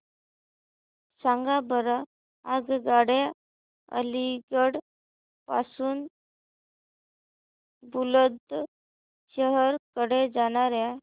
सांगा बरं आगगाड्या अलिगढ पासून बुलंदशहर कडे जाणाऱ्या